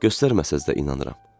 Göstərməsəz də inanıram.